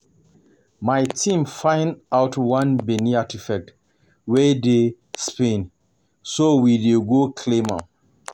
My team find out one Benin artefact wey dey Spain so we dey go claim am